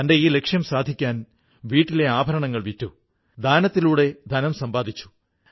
സുമൻജി സ്വയംസഹായ സംഘത്തിലെ കൂട്ടുകാരികൾക്കൊപ്പം ചേർന്ന് മാസ്കുകൾ ഉണ്ടാക്കാൻ തുടങ്ങി